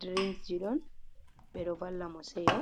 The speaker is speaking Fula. drings ji don be do valla mo seyo.